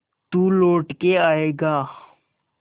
तू लौट के आएगा